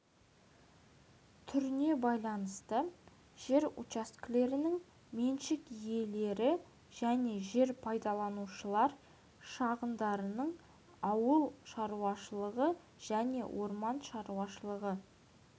түріне байланысты жер учаскелерінің меншік иелері және жер пайдаланушылар шығындарының ауыл шаруашылығы және орман шаруашылығы